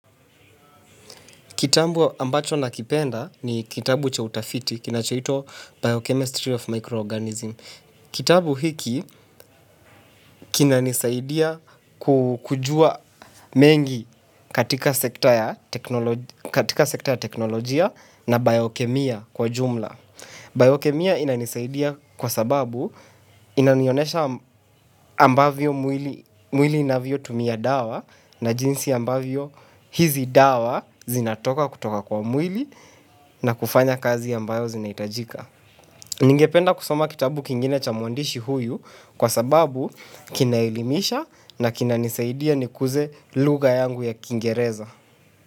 Kitabu ambacho nakipenda ni kitabu cha utafiti, kinachoitwa "Biochemistry of Microorganism". Kitabu hiki kinanisaidia kujua mengi katika sekta ya teknolojia na biochemia kwa ujumla. Biochemia inanisaidia kwa sababu inanionyesha ambavyo mwili inavyotumia dawa na jinsi ambavyo hizi dawa zinatoka kutoka kwa mwili na kufanya kazi ambayo zinahitajika. Ningependa kusoma kitabu kingine cha mwandishi huyu kwa sababu kinaelimisha na kinanisaidia nikuze lugha yangu ya kingereza.